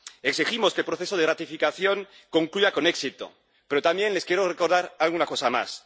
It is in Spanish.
Exigimos que el proceso de ratificación concluya con éxito, pero también les quiero recordar alguna cosa más.